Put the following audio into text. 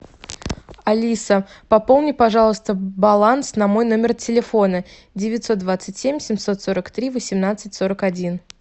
алиса пополни пожалуйста баланс на мой номер телефона девятьсот двадцать семь семьсот сорок три восемнадцать сорок один